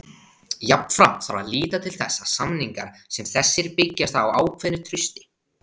Jafnframt þarf að líta til þess að samningar sem þessir byggjast á ákveðnu trausti.